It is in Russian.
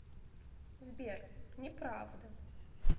сбер не правда